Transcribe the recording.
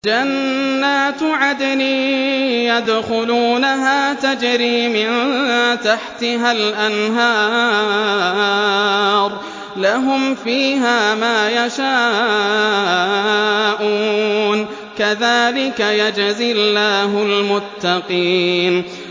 جَنَّاتُ عَدْنٍ يَدْخُلُونَهَا تَجْرِي مِن تَحْتِهَا الْأَنْهَارُ ۖ لَهُمْ فِيهَا مَا يَشَاءُونَ ۚ كَذَٰلِكَ يَجْزِي اللَّهُ الْمُتَّقِينَ